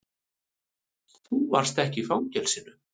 Þú varst ekki í fangelsinu.